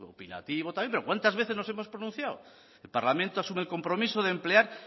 también pero cuántas veces nos hemos pronunciado el parlamento asume el compromiso de emplear